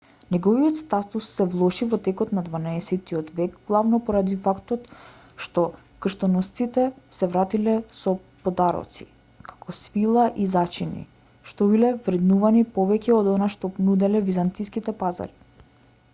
неговиот статус се влоши во текот на дванаесеттиот век главно поради фактот што крстоносците се вратиле со подароци како свила и зачини што биле вреднувани повеќе од она што го нуделе византиските пазари